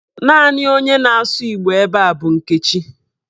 Naanị onye na-asụ Igbo ebe a bụ Nkechi.